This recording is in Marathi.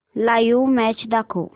लाइव्ह मॅच दाखव